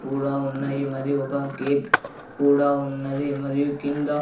కూడా ఉన్నాయి మరి ఒక గేట్ కూడా ఉన్నది మరియు కింద --